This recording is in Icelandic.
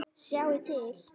Sjáðu til.